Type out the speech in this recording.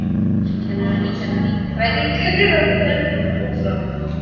Íslenskukennarinn var líka nýgræðingur og fjarskalega óframur.